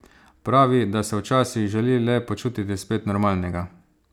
Pravi, da se včasih želi le počutiti spet normalnega.